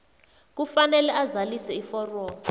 kufanele azalise iforomo